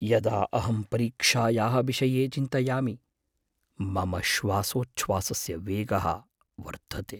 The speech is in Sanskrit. यदा अहं परीक्षायाः विषये चिन्तयामि, मम श्वासोच्छ्वासस्य वेगः वर्धते।